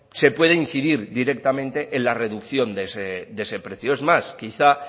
se pueda incidir directamente en la reducción de ese precio es más quizá